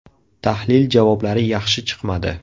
Tahlil javoblari yaxshi chiqmadi.